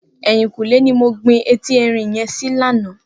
Eyinkúnlé ni mó gbin éti èrín yèn si làná